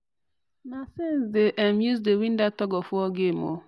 na sense them um dey use win that tug-of-war game o